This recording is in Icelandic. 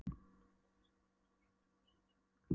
Kertaljósin, kórsöngurinn, rödd prestsins og jólaguðspjallið.